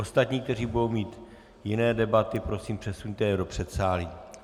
Ostatní, kteří budou mít jiné debaty, prosím, přesuňte je do předsálí.